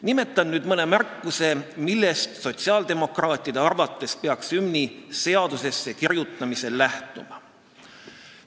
Nimetan nüüd mõne märkuse, millest sotsiaaldemokraatide arvates peaks hümni seadusesse kirjutamisel lähtuma.